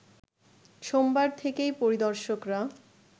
সোমবার থেকেই পরিদর্শকরা